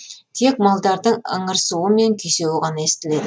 тек малдардың ыңырсуы мен күйсеуі ғана естіледі